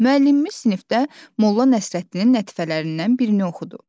Müəllimimiz sinifdə Molla Nəsrəddinin lətifələrindən birini oxudu.